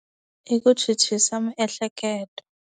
I ku chuchisa miehleketo.